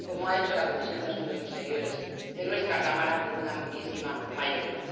como ha hecho la Comisión de Asuntos Exteriores de nuestra Cámara por una amplísima mayoría.